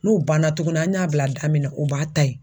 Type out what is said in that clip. N'o banna tukuni an y'a bila da min na, u b'a ta yen.